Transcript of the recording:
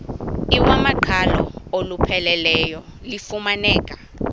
iwamaqhalo olupheleleyo lufumaneka